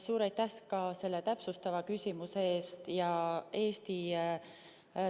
Suur aitäh ka selle täpsustava küsimuse eest!